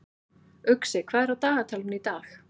Uxi, hvað er á dagatalinu í dag?